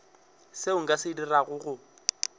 seo nka se dirago go